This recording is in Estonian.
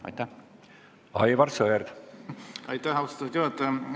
Aitäh, austatud juhataja!